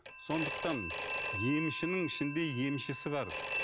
сондықтан емшінің ішінде емшісі бар